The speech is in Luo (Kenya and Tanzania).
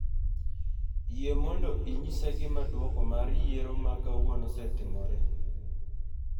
Yie mondo inyisa gima duoko mar yiero ma kawuono osetimore